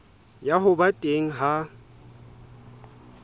ya ho ba teng ha